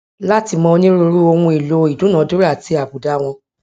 láti mọ onírúurú ohun èèlò ìdúnnàdúnrà àti àbùdá wọn